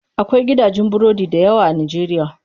Akwai gidajen burodi dayawa a najeriya.